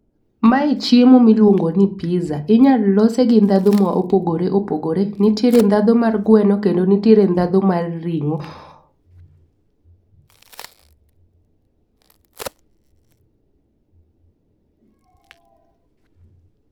Mae chiemo miluongo ni pizza. Inyal lose gi ndhadhu mopogore opogore. Nitiere ndhadhu mar gweno kendo nitiere ndhadhu mar ring'o.